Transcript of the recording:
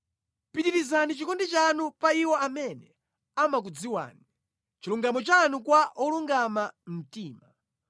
Pitirizani chikondi chanu pa iwo amene amakudziwani, chilungamo chanu kwa olungama mtima.